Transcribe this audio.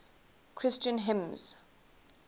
christian hymns